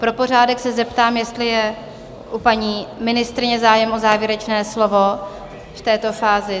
Pro pořádek se zeptám, jestli je u paní ministryně zájem o závěrečné slovo v této fázi?